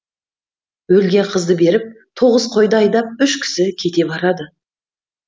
өлген қызды беріп тоғыз қойды айдап үш кісі кете барады